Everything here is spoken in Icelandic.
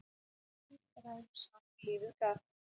Feigð ræður sá er lífið gaf.